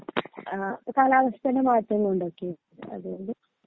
ആ കാലാവസ്ഥയുടെ മാറ്റം കൊണ്ടൊക്കെ അതുകൊണ്ട്